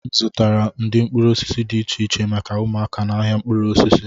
M zụtara ụdị mkpụrụ osisi dị iche iche maka ụmụaka n'ahịa mkpụrụ osisi